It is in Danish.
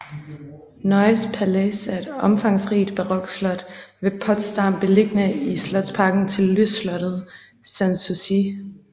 Neues Palais er et omfangsrigt barokslot ved Potsdam beliggende i slotsparken til lystslottet Sanssouci